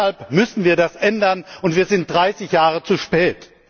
Deshalb müssen wir das ändern, und wir sind dreißig Jahre zu spät.